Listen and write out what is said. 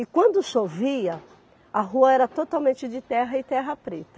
E quando chovia, a rua era totalmente de terra e terra preta.